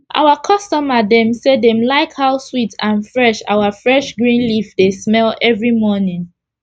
our customer dem say dem like how sweet and fresh our fresh green leaf dey smell everi morning